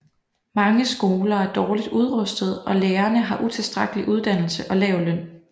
Mange skoler er dårligt udrustede og lærerne har utilstrækkelig uddannelse og lav løn